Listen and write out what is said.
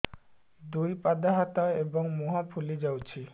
ଦୁଇ ପାଦ ହାତ ଏବଂ ମୁହଁ ଫୁଲି ଯାଉଛି